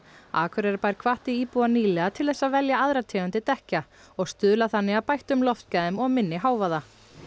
Akureyrarbær hvatti íbúa nýlega til þess að að velja aðrar tegundir dekkja og stuðla þannig að bættum loftgæðum og minni hávaða